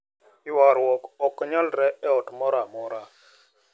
Ywarruok ok nyalre e ot moro amora,